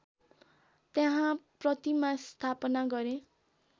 त्यहाँ प्रतिमा स्थापना गरे